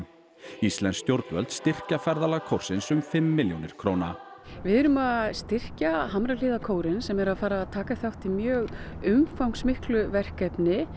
íslensk stjórnvöld styrkja ferðalag kórsins um fimm milljónir króna við erum að styrkja Hamrahlíðarkórinn sem er að fara að taka þátt í mjög umfangsmiklu verkefni